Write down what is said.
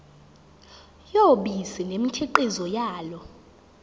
yobisi nemikhiqizo yalo